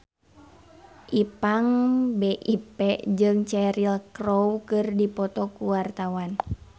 Ipank BIP jeung Cheryl Crow keur dipoto ku wartawan